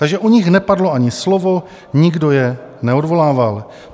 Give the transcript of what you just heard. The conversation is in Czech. Takže o nich nepadlo ani slovo, nikdo je neodvolával.